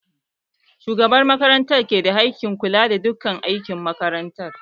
Shugaban makaranta ke da haƙƙin kula da duka ayukan makaranta